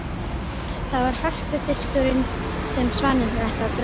Það var hörpudiskurinn sem svanirnir ætluðu að draga.